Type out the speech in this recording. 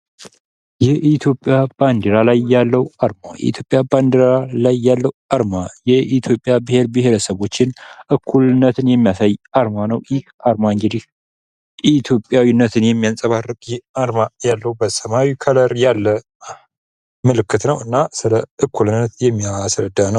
የኢትዮጵያ ባንዲራ ላይ ያለው አርማ የኢትዮጵያ ብሔር ብሔረሰቦችን እኩልነትን የሚያሳይ አርማ ነው። ይህ ዓርማ እንግዲህ ኢትዮጵያዊነትን የሚያንጸባርቅ የአርማ ያለው በሰማያዊ ከለር ያለ ምልክት ነውና ስለ እኩልነት የሚያስረዳ ነው።